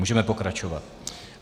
Můžeme pokračovat.